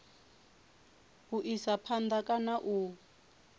u isa phanda kana u